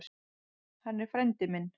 Hann er frændi minn.